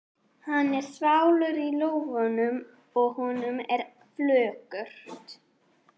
Hann er þvalur í lófunum og honum er flökurt.